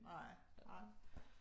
Nej, ej